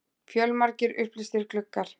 Fjölmargir upplýstir gluggar.